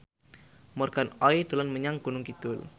Morgan Oey dolan menyang Gunung Kidul